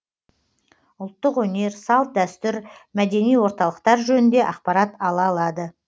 ұлттық өнер салт дәстүр мәдени орталықтар жөнінде ақпарат ала алады